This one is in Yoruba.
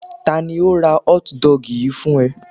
Ta ni ó ra hotdog yìí fún ẹ?